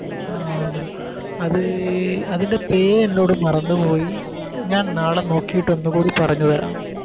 ആ അത് അതിൻറെ പേര് എന്നോട് മറന്ന് പോയി ഞാൻ നാളെ നോക്കിട്ട് ഒന്നുകൂടി പറഞ്ഞ് തരാം